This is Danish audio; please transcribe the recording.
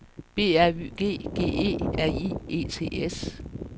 B R Y G G E R I E T S